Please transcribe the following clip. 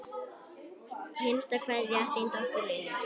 Hinsta kveðja, þín dóttir, Lilja.